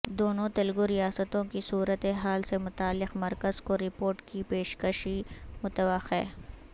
دونوں تلگو ریاستوں کی صورتحال سے متعلق مرکز کو رپورٹ کی پیشکشی متوقع